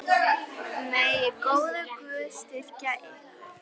Konum þykir kynlega að farið.